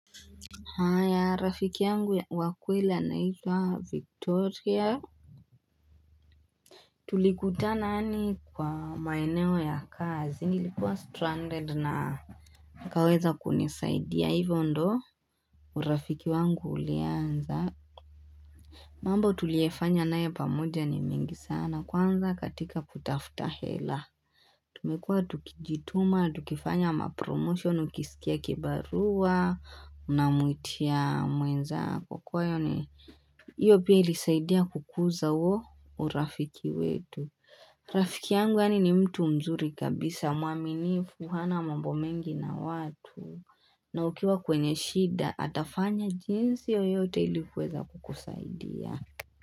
Haya rafiki yangu wakweli anaitwa Victoria. Tulikuta nani kwa maeneo ya kazi. Nilikuwa stranded na akaweza kunisaidia. Hivyo ndii urafiki wangu ulianza. Mambo tuliefanya nae pamoja ni mingi sana. Kwanza katika kutafuta hela. Tumekua tukijituma, tukifanya mapromotion, ukisikia kibarua, unamwitia mwenzako kwa hiyo ni. Iyo pia ilisaidia kukuza huo urafiki wetu. Rafiki yangu yaani ni mtu mzuri kabisa muaminifu, hana mambo mengi na watu. Na ukiwa kwenye shida, atafanya jinsi yoyote ilikuweza kukusaidia.